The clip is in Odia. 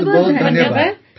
ବହୁତ ବହୁତ ଧନ୍ୟବାଦ